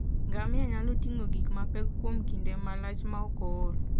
Ngamia nyalo ting'o gik mapek kuom kinde malach maok ool.